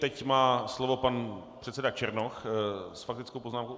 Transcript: Teď má slovo pan předseda Černoch s faktickou poznámkou.